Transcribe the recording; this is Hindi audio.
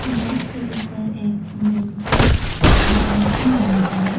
घास के ऊपर एक बैंबू देखने को मिला है।